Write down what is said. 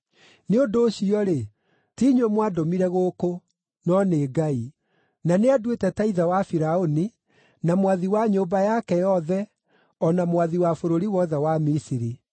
“Nĩ ũndũ ũcio-rĩ, ti inyuĩ mwandũmire gũkũ, no nĩ Ngai. Na nĩanduĩte ta ithe wa Firaũni, na mwathi wa nyũmba yake yothe o na mwathi wa bũrũri wothe wa Misiri.